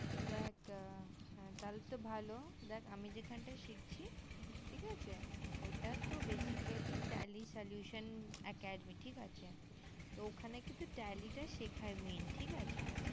দেখ তালে তো ভালো দেখ আমি যেখান তা শিখছি ঠিক আছে ওটা তো basically tally solution academy ঠিক আছে ওখানে কিন্তু tally টা শেখায় main ঠিক আছে